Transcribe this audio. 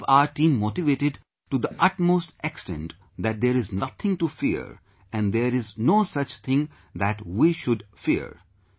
We keep our team motivated to the utmost extent that there is nothing to fear, and there is no such thing that we should fear